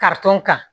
kan